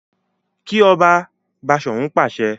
Ki ọba! Bashorun pàṣẹ.